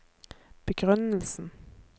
begrunnelsen